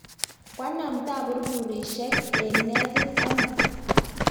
koanam taburburisiek eng' netit amut